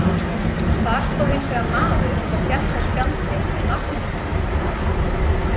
Þar stóð hins vegar maður og hélt á spjaldi með nafninu hennar.